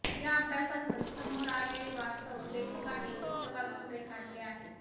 या अभ्यासातून समोर आलेले वास्तव लेखकाने पुस्तकातून रेखाटले आहे